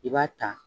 I b'a ta